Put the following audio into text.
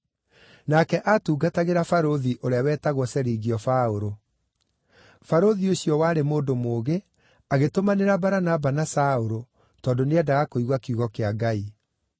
nake aatungatagĩra barũthi ũrĩa wetagwo Serigio Paũlũ. Barũthi ũcio warĩ mũndũ mũũgĩ, agĩtũmanĩra Baranaba na Saũlũ tondũ nĩendaga kũigua kiugo kĩa Ngai.